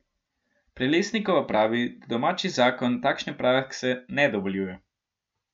Prelesnikova pravi, da domači zakon takšne prakse ne dovoljuje.